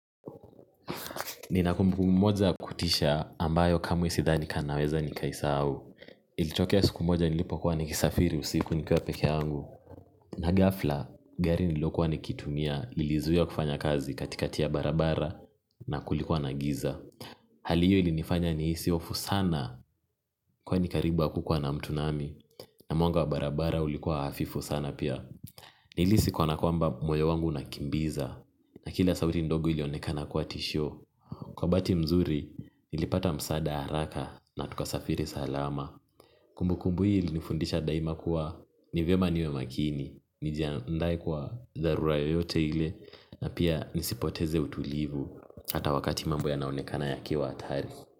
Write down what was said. Nina kumbukumbu moja ya kutisha ambayo kamwe sidhani kama naweza nikaisahau. Ilitokea siku moja nilipo kuwa nikisafiri usiku nikiwa pekee yangu na gafla, gari nililokuwa nikitumia, lilizuiwa kufanya kazi katika ya barabara na kulikuwa na giza hali hiyo ilinifanya nihisi hofu sana kwani karibu hakukua na mtu nami na mwanga wa barabara ulikuwa hafifu sana pia. Nilihisi kana kwamba moyo wangu unakimbiza na kila sauti ndogo ilionekana kuwa tishio kwa bahati mzuri, nilipata msaada haraka na tukasafiri salama. Kumbukumbu hii ilinifundisha daima kuwa ni vyema niwe makini. Nijandae kwa dharura yoyote ile na pia nisipoteze utulivu. Hata wakati mambo yanaonekana yakiwa hatari.